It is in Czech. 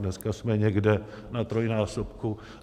Dneska jsme někde na trojnásobku.